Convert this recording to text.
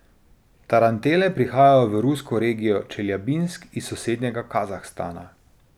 Tarantele prihajajo v rusko regijo Čeljabinsk iz sosednjega Kazahstana.